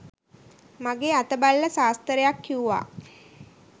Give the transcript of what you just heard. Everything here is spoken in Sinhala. මගේ අත බලලා සාස්තරයක් කිව්වා.